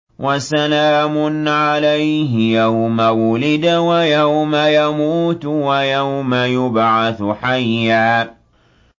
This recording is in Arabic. وَسَلَامٌ عَلَيْهِ يَوْمَ وُلِدَ وَيَوْمَ يَمُوتُ وَيَوْمَ يُبْعَثُ حَيًّا